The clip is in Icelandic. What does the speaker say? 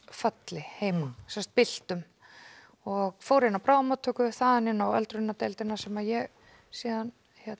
föll heima sem sagt byltur og fóru inn á bráðamóttöku og þaðan inn á öldrunardeildina sem ég síðan